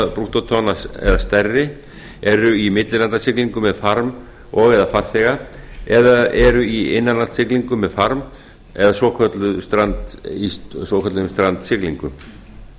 brúttótonn eða stærri eru í millilandasiglingum með farm og eða farþega eða eru í innanlandssiglingum með farm eða í svokölluðum strandsiglingum